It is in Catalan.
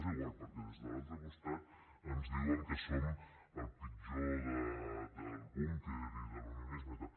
és igual perquè des de l’altre costat ens diuen que som el pitjor del búnquer i de l’unionisme i tal